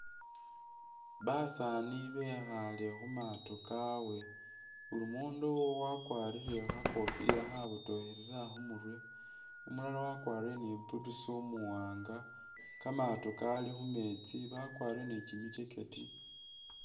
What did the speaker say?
Basaani bekhale khumato kawe, muli mundu wakwarile kha'kofila khabotokhelela khumurwe, umulala wakwarile ni' buutusi umuwanga, kamato Kali khumeetsi, bakwarile ni'kimi jacket